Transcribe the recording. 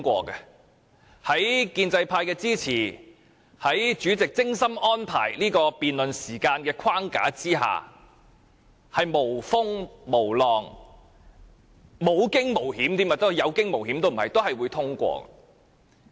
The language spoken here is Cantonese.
因為建制派的支持，也因為主席精心安排的這項辯論的時間框架，預算案會無風無浪，無驚無險，或即使是有驚無險，也總會被通過。